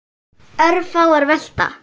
Örfáar velta.